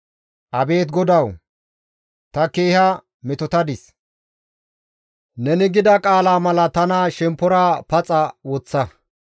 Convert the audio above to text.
Abeet GODAWU! Ta keeha metotadis; Neni gida qaala mala tana shemppora paxa woththa.